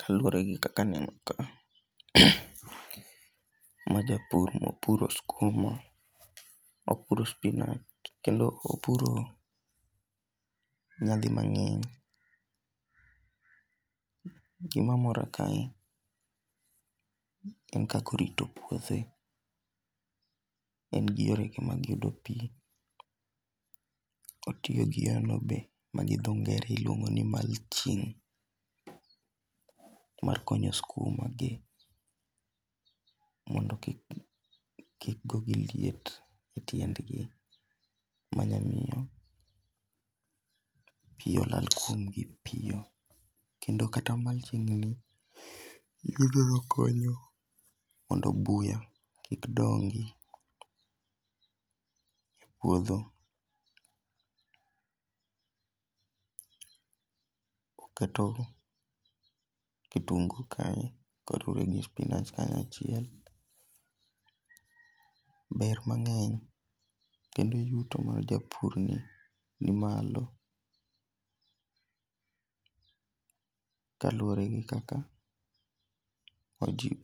Kaluore gi kaka aneno ka, ma japur mopuro skuma, opuro spinach kendo opuro nyadi mang'eny. Gima mora kae, en kaka orito puothe en gi yore ge mag yudo pii kotiyo gi yono ma gi dho ngere iluongo ni mulching mar konyo skuma gi kik, kik golgi liet e tiend gi ma nya miyo pii olal kuomgi piyo kendo kata mulching[sc] ni onyalo konyo mondo buya kik dongi e puodho. Oketo kitungu kae koriwe gi spinach kanya chiel. ber mangeny kendo yuto mar japur ni ni malo, kaluore gi kaka otiyo,